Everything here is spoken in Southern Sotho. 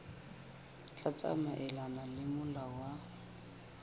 tla tsamaelana le molao wa